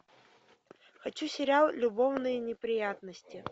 хочу сериал любовные неприятности